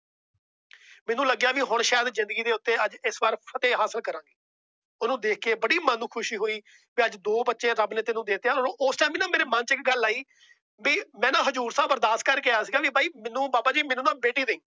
ਸ਼ਾਇਦ ਜਿੰਦਗੀ ਦੇ ਉੱਤੇ ਇਸ ਵਾਰ ਫਤਿਹ ਹਾਂਸਲ ਕਰਾ। ਉਹਨੂੰ ਦੇਖ ਕੇ ਬੜੀ ਮਨ ਨੂੰ ਖੁਸ਼ੀ ਹੋਈ। ਵੀ ਅੱਜ ਦੋ ਬੱਚੇ ਰੱਬ ਨੇ ਤੈਨੂੰ ਦੇਤੇ ਏ। ਉਸ Time ਨਾ ਮੇਰੇ ਮਨ ਚ ਇੱਕ ਗੱਲ ਆਈ ਵੀ ਮੈ ਨਾ ਹਜ਼ੂਰ ਸਾਹਿਬ ਅਰਦਾਸ ਕਰ ਕੇ ਆਇਆ ਸੀ ਗਾ। ਬਾਬਾ ਜੀ ਮੈਨੂੰ ਨਾ ਬੇਟੀ ਦੇਇ।